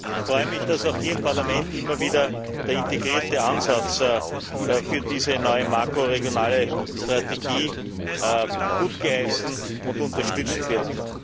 Ich freue mich, dass auch hier im Parlament immer wieder der integrierte Ansatz für diese neue makroregionale Strategie gutgeheißen und unterstützt wird.